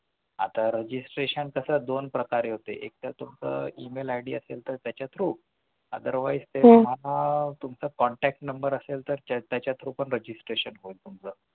आता Registration कसं दोन प्रकारे होते एकतर कसं email id असेल तर त्याच्या through otherwise तुमचं contact number असेल तर त्याच्या through पण registration होईल तुमचं